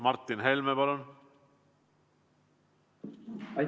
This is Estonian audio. Martin Helme, palun!